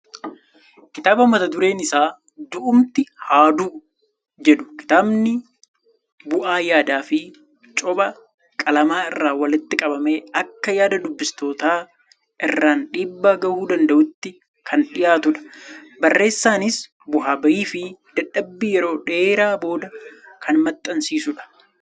Kitaaba mata dureen isaa "du'umti haa du'u" jedhu. Kitaabni bu'aa yaadaa fi copha qalamaa irraa walitti qabamee akka yaada dubbistootaa irraan dhiibbaa gahuu danda'uutti kan dhiyaatudha. Barreessaanis bu'aa bahii fi dadhabbii yeroo dheeraa booda kan maxxansiisudha.